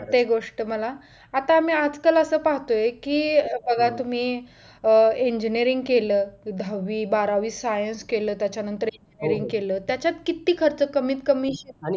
पटते गोष्ट मला आता आम्ही आजकल असं पाहतोय कि बघा तुम्ही engineering केलं दहावी बारावी science केलं त्याच्यानंतर engineering केलंत त्याच्यात किती खर्च कमीतकमी